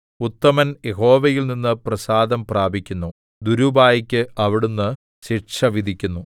ഉത്തമൻ യഹോവയിൽനിന്ന് പ്രസാദം പ്രാപിക്കുന്നു ദുരുപായിക്ക് അവിടുന്ന് ശിക്ഷ വിധിക്കുന്നു